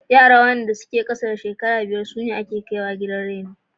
Yaran da ke ƙasa da shekaru biyar sune waɗanda aka shigar a cikin gidan raino.